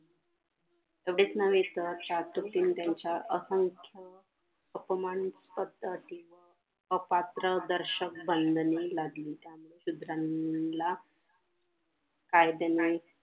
तेवढेच नव्हे तर त्यांच्या असंख्य अपमान पद्धती अपात्र दर्शक बंधने लागली त्यामुळे क्षुद्रांला कायदे नाही